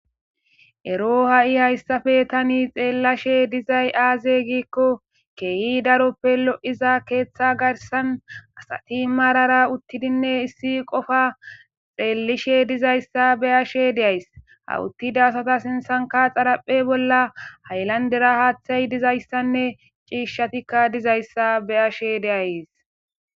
Ero ha'i hayssafe tani xeellashe dizay aaze giikko keeyi daroppe lo'iza keeththa garsan asati marara uttidinne issi qofa xeellishe dizayssa beyashe deays hawuttida asata sinsanka xaraphe bolla haylandera haaththay dizayssanne ciishshatikka dizayssa beyashe deayes.